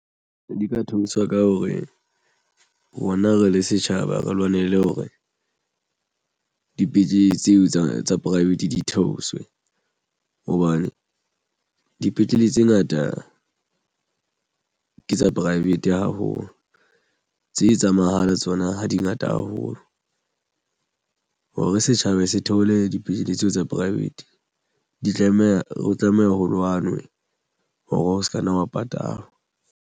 Di ka thusa ka hore rona re le setjhaba re lwanele hore dipetlele tseo tsa private di theoswe hobane dipetlele tse ngata ke tsa pivate haholo tse tsa mahala tsona ha di ngata haholo hore setjhaba se theole dipetlele tseo tsa private di tlameha ho tlameha ho lwanwe hore o se ka nna wa patala.